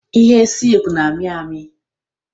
Ihe silk na-amị amị